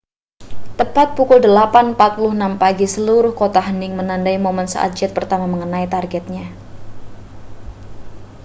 tepat pukul 08.46 pagi seluruh kota hening menandai momen saat jet pertama mengenai targetnya